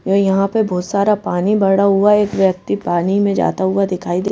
व यहाँ पर बहुत सारा पानी भडा हुआ है एक व्यक्ति पानी में जाता हुआ दिखाई दे --